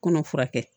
Kɔnɔ furakɛ